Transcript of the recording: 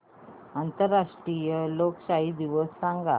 आंतरराष्ट्रीय लोकशाही दिवस सांगा